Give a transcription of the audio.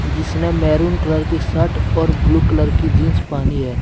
जिसने maroon colour की shirt और ब्लू कलर की जींस पहनाी है।